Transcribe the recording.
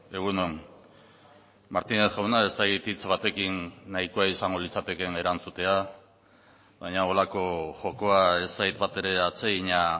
egun on martínez jauna ez dakit hitz batekin nahikoa izango litzatekeen erantzutea baina horrelako jokoa ez zait batere atsegina